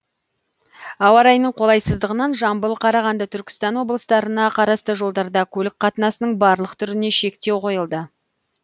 ауа райының қолайсыздығынан жамбыл қарағанды түркістан облыстарына қарасты жолдарда көлік қатынасының барлық түріне шектеу қойылды